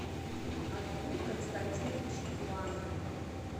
отгур константинович ланг